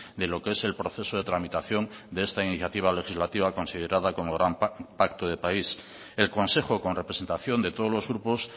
de lo que es el proceso de tramitación de esta iniciativa legislativa considerada como gran pacto de país el consejo con representación de todos los grupos